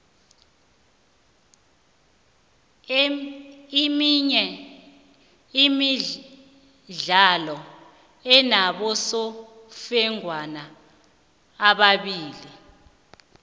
iminye imidlalo inabosofengwana ababili